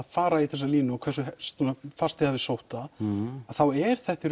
fara í þessa línu og hversu fast þið hafið sótt það þá er þetta í